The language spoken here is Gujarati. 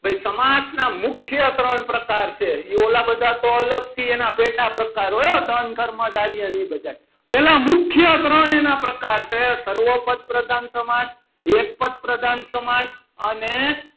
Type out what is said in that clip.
ભાઈ સમાસના મુખ્ય ત્રણ પ્રકાર છે. ઓલા બધા તો અલગથી એના પેટા પ્રકાર હો દંડ કર્મચારીને એ બધાએ પહેલા મુખ્ય ત્રણ એના પ્રકાર છે સર્વ પદ પ્રધાન સમાસ એક પદ પ્રધાન સમાસ અને,